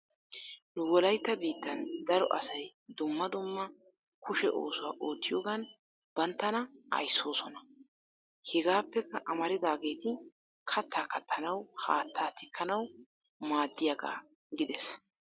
Nu Wolaytta biittan daro asay dumma dumma kushe oosuwa oottiyoogan banttana ayssoosoma. Hegappeka amaridaageeti kattaa kattanaw, haattaa tikkanaw maaddiyaaga gidees.